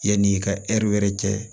Yanni i ka wɛrɛ cɛ